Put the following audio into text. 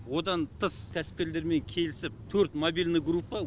одан тыс кәсіпкерлермен келісіп төрт мобильный группа